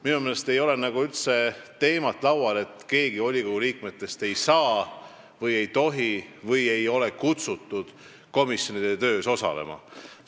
Minu meelest ei peaks üldse olema nii, et keegi volikogu liikmetest ei saa või ei tohi osaleda.